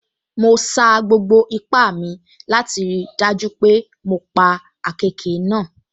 Mo sa gbogbo ipá mi láti rí i dájú pé mo sa gbogbo ipá mi